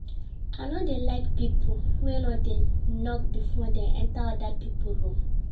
I no dey like pipo wey no dey knock before dem enta oda pipo room.